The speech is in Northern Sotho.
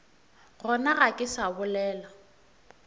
gona ga ke sa bolela